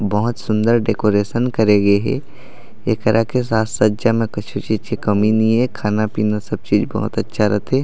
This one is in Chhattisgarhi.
बहोत सुन्दर डेकोरेशन करे गे हे एकरा के साज सज्जा में कुछ चीज के कमी नहीं ए खाना-पीना सब बहोत अच्छा रथे--